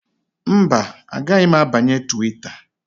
Mba, agaghị m abanye Twita